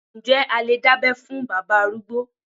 Ǹjẹ́ a lè dábẹ́ fún bàbá arúgbó.